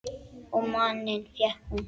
Og manninn fékk hún.